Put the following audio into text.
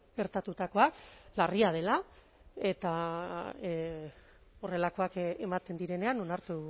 gertatutakoa larria dela eta horrelakoak ematen direnean onartu